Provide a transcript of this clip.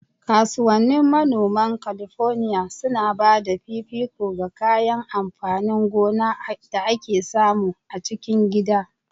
Kasuwannin manoman Kalifornia suna ba da fifiko ga kayan amfanin gona da ake samu a cikin gida.